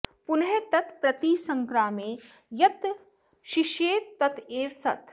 पुनः तत् प्रतिसङ्क्रामे यत् शिष्येत तत् एव सत्